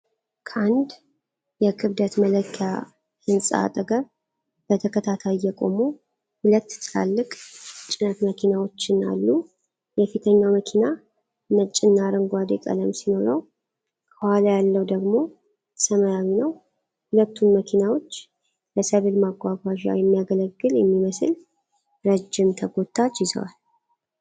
ከአንድ የክብደት መለኪያ ሕንፃ አጠገብ በተከታታይ የቆሙ ሁለት ትላልቅ ጭነት መኪናዎችን አሉ። የፊተኛው መኪና ነጭና አረንጓዴ ቀለም ሲኖረው፣ ከኋላ ያለው ደግሞ ሰማያዊ ነው። ሁለቱም መኪናዎች ለሰብል ማጓጓዣ የሚያገለግል የሚመስል ረዥም ተጎታች ይዘዋል።